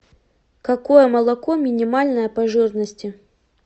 какое молоко минимальное по жирности